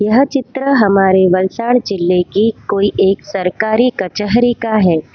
यह चित्र हमारे वलसाल जिले की कोई एक सरकारी कचहरी का है।